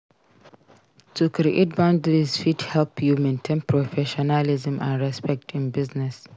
To create boundaries fit help you maintain professionalism and respect in business.